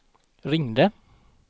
ringde